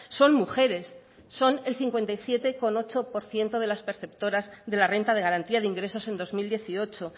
son mujeres son el cincuenta y siete coma ocho por ciento de las perceptoras de la renta de garantía de ingresos en dos mil dieciocho